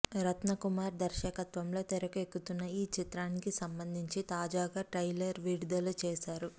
రత్న కుమార్ దర్శకత్వంలో తెరకెక్కుతున్న ఈ చిత్రానికి సంబంధించి తాజాగా ట్రైలర్ విడుదల చేశారు